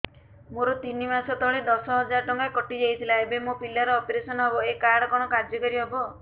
ମୋର ତିନି ମାସ ତଳେ ଦଶ ହଜାର ଟଙ୍କା କଟି ଯାଇଥିଲା ଏବେ ମୋ ପିଲା ର ଅପେରସନ ହବ ଏ କାର୍ଡ କଣ କାର୍ଯ୍ୟ କାରି ହବ